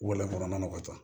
Walɔn kɔnɔnaw ka ca